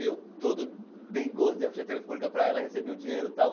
E eu todo dengoso, dei a ficha telefônica para ela, recebi o dinheiro e tal.